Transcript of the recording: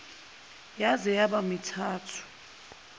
yaze yaba mithathu